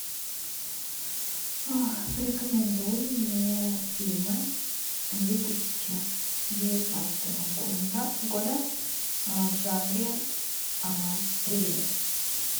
порекомендуй мне фильмы две тысячи девятнадцатого года в жанре триллер